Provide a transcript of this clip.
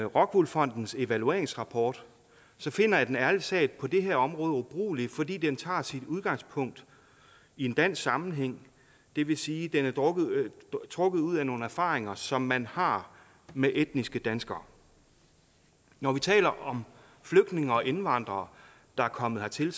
rockwool fondens evalueringsrapport finder jeg den ærlig talt på det her område ubrugelig fordi den tager sit udgangspunkt i en dansk sammenhæng det vil sige den er trukket ud trukket ud af nogle erfaringer som man har med etniske danskere når vi taler om flygtninge og indvandrere der er kommet hertil